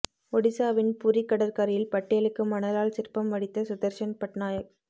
ஒடிசாவின் புரி கடற்கரையில் பட்டேலுக்கு மணலால் சிற்பம் வடித்த சுதர்ஷன் பட்நாயக்